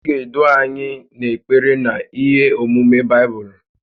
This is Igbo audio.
Ị ga-edu anyị n’ekpere na ihe ọ̀mụ̀mụ̀ Baibụlụ